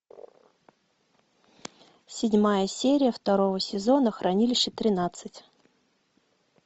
седьмая серия второго сезона хранилище тринадцать